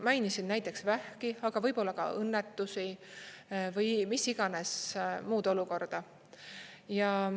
Mainisin näiteks vähki, aga võib olla ka õnnetusi või mis iganes muud olukorda.